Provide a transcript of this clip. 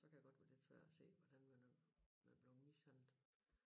Så kan jeg godt få lidt sværere at se hvordan man er er blevet mishandlet